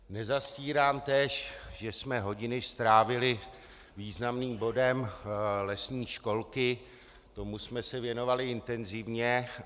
Nezastírám též, že jsme hodiny strávili významným bodem lesní školky, tomu jsme se věnovali intenzivně.